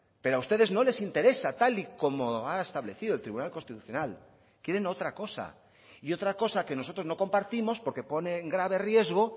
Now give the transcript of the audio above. pero a ustedes no les interesa tal y como ha establecido el tribunal constitucional quieren otra cosa y otra cosa que nosotros no compartimos porque pone en grave riesgo